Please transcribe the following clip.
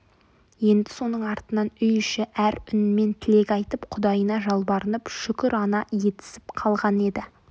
енді соның артынан үй іші әр үнмен тілек айтып құдайына жалбарынып шүкірана етісіп қалған еді